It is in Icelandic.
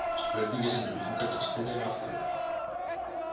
Spurningin sem mig langar til að spyrja er: Af hverju?